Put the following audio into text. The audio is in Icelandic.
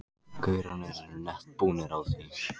gaurarnir eru nett búnir á því.